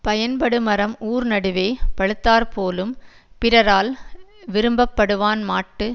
பயன்படுமரம் ஊர்நடுவே பழுத்தாற் போலும் பிறரால் விரும்பப்படுவான்மாட்டுச்